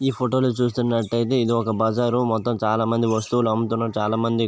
ఈ హోటల్ ని చూస్తున్నట్టు అయితే ఇది ఒక బజారు . చాలా మంది వస్తువులు అమ్ముతారు. చాలా మంది--